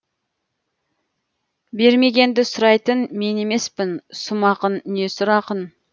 бермегенді сұрайтын мен емеспін сұм ақын не сұр ақын